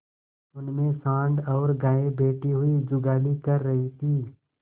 उनमें सॉँड़ और गायें बैठी हुई जुगाली कर रही थी